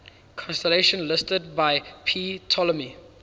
constellations listed by ptolemy